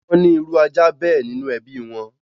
Wọ́n ní irú ajá bẹ́ẹ̀ nínú ẹbí wọn